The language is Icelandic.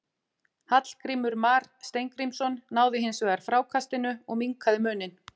Hallgrímur Mar Steingrímsson náði hins vegar frákastinu og minnkaði muninn.